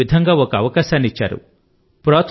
వారు మీకు ఈ విధంగా ఒక అవకాశాన్ని ఇచ్చారు